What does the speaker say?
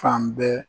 Fan bɛɛ